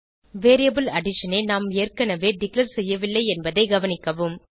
variable addition ஐ நாம் ஏற்கனவே டிக்ளேர் செய்யவில்லை என்பதை கவனிக்கவும்